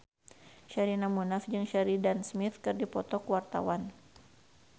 Sherina Munaf jeung Sheridan Smith keur dipoto ku wartawan